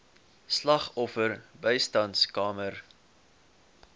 slagoffer bystandskamers